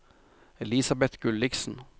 Elisabet Gulliksen